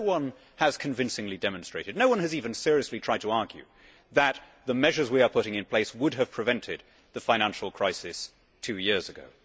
No one has convincingly demonstrated no one has even seriously tried to argue that the measures we are putting in place would have prevented the financial crisis two years ago.